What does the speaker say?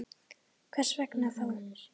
Hvers vegna þá?